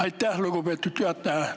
Aitäh, lugupeetud juhataja!